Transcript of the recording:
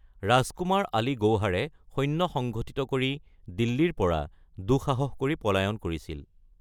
ৰাজকুমাৰ আলী গৌহাৰে সৈন্য সংগঠিত কৰি দিল্লীৰ পৰা দুঃসাহস কৰি পলায়ন কৰিছিল।